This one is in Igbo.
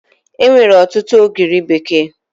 Enwere ọtụtụ ogiri bekee